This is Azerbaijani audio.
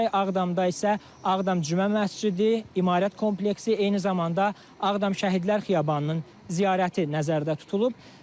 Ağdamda isə Ağdam Cümə Məscidi, İmarət kompleksi, eyni zamanda Ağdam Şəhidlər Xiyabanının ziyarəti nəzərdə tutulub.